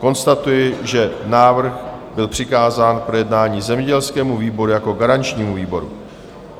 Konstatuji, že návrh byl přikázán k projednání zemědělskému výboru jako garančnímu výboru.